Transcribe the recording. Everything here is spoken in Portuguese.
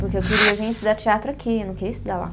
Porque eu queria vir estudar teatro aqui, eu não queria estudar lá.